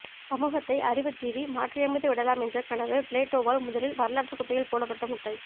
சமூகத்தை அறிவுஜீவி மாற்றியமைத்துவிடலாமென்ற கனவு பிளேட்டோவால் முதலில் வரலாற்றுக்குப்பையில் போடப்பட்ட முட்டை